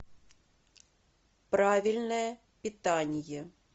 правильное питание